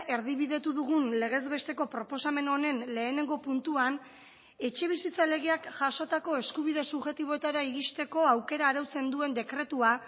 erdibidetu dugun legez besteko proposamen honen lehenengo puntuan etxebizitza legeak jasotako eskubide subjektiboetara iristeko aukera arautzen duen dekretua